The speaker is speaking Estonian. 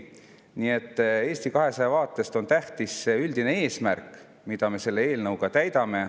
Nii et Eesti 200 vaates on tähtis üldine eesmärk, mida me selle eelnõuga täidame.